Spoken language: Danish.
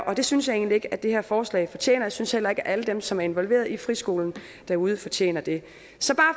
og det synes jeg egentlig ikke at det her forslag fortjener jeg synes heller ikke at alle dem som er involveret i friskolerne derude fortjener det så bare